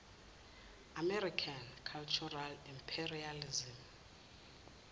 american cultural imperialism